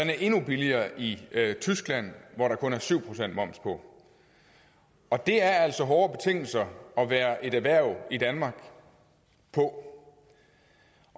er endnu billigere i tyskland hvor der kun er syv procent moms på og det er altså hårde betingelser at være et erhverv i danmark på